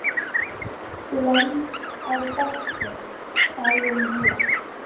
Hlemm á potti sáum vér.